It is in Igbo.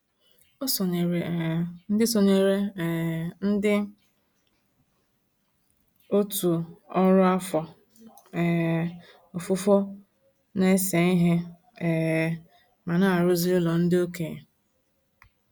O sonyeere um ndị sonyeere um ndị òtù ọrụ afọ um ofufo na-ese ihe um ma na-arụzi ụlọ ndị okenye.